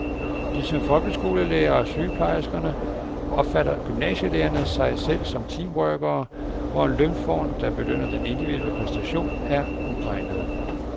Ligesom folkeskolelærerne og sygeplejerskerne opfatter gymnasielærerne sig selv som teamworkere, hvor en lønform, der belønner den individuelle præstation, er uegnet.